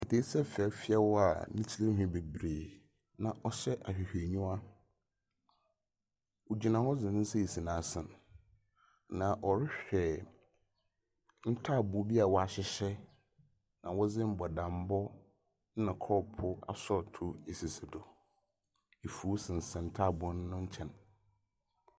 Aketseesa fɛfɛɛ a ne tir nwhi bebree na ɔhyɛ ahwehwɛnyiwa. Ogyna hɔ dze ne nsa asi n'asen. Ogyina hɔ rehwɛ ntaaboo bi a wɔahyehyɛ na wɔdze mbɔdambɔ na kɔɔpoo asɔɔtoo asisi do. Afuw sensɛn taaboo no nkyɛn.